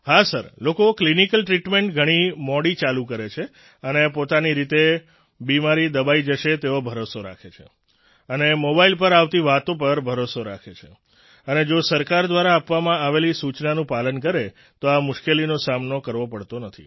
હા સર લોકો clinical treatment ઘણી મોડી ચાલુ કરે છે અને પોતાની રીતે બિમારી દબાઈ જશે તેવો ભરોસો રાખે છે અને મોબાઈલ પર આવતી વાતો પર ભરોસો રાખે છે અને જો સરકાર દ્વારા આપવામાં આવેલી સૂચનાનું પાલન કરે તો આ મુશ્કેલીનો સામનો કરવો પડતો નથી